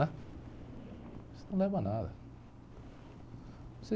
né? Isso não leva a nada.